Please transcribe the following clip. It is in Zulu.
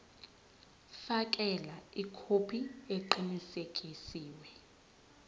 fakela ikhophi eqinisekisiwe